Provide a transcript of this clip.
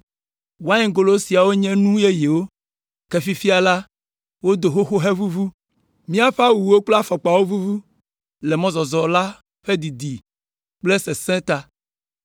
Waingolo siawo nye nu yeyewo, ke fifia la, wodo xoxo hevuvu. Míaƒe awuwo kple afɔkpawo vuvu le mɔzɔzɔ la ƒe didi kple sesẽ ta.”